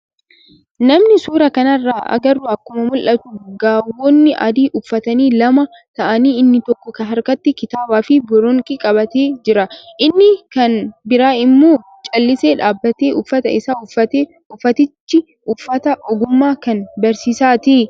Namni suuraa kanarraa agarru akkuma mul'atu gaawonii adii uffatanii lama ta'anii inni tokko harkatti kitaabaa fi boronqii qabatee jira. Inni kann biraan immoo callisee dhaabbata uffata isaa uffatee. Uffatichi uffata ogummaa kan barsiisaati.